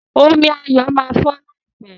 Omí Ayo má fọ láìpé.